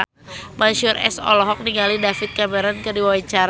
Mansyur S olohok ningali David Cameron keur diwawancara